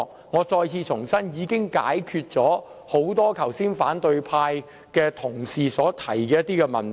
我再次重申，這項修正案已可解決多位反對派同事剛才提及的問題。